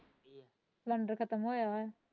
Cylinder ਖ਼ਤਮ ਹੋਇਆ ਹੈ।